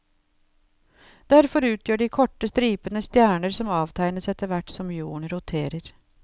Derfor utgjør de korte stripene stjerner som avtegnes etterhvert som jorden roterer.